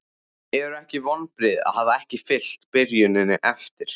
Eru ekki vonbrigði að hafa ekki fylgt byrjuninni eftir?